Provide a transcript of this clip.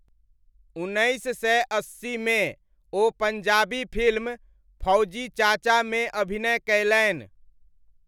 उन्नैस सय अस्सीमे ओ पञ्जाबी फिल्म 'फौजी चाचा' मे अभिनय कयलनि।